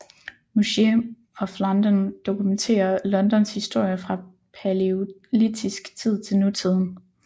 Museum of London dokumenterer Londons historie fra palæolitisk tid til nutiden